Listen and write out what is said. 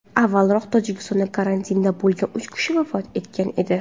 Avvalroq Tojikistonda karantinda bo‘lgan uch kishi vafot etgan edi .